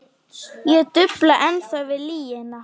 Ég dufla ennþá við lygina.